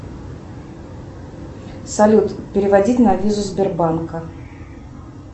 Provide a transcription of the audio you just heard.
салют переводить на визу сбербанка